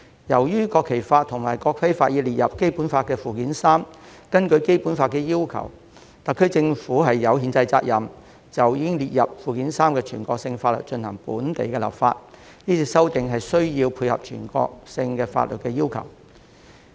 由於《國旗法》及《國徽法》已列入《基本法》附件三，根據《基本法》的要求，特區政府有憲制責任就已經列入附件三的全國性法律進行本地立法，所以是次修訂的目的是配合全國性法律的要求。